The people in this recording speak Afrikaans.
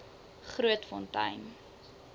grootfontein